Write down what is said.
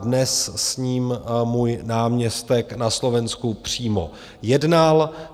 Dnes s ním můj náměstek na Slovensku přímo jednal.